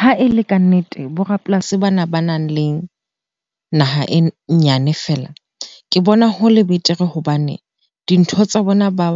Ha e le kannete, borapolasi bana banang le naha e nyane fela. Ke bona hole betere hobane dintho tsa bona ba